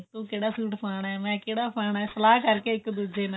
ਤੂੰ ਕਿਹੜਾ ਸੂਟ ਪਾਉਣਾ ਮੈਂ ਕਿਹੜਾ ਪਾਉਣਾ ਸਲਾਹ ਕਰਕੇ ਇੱਕ ਦੂਜੀ ਨਾਲ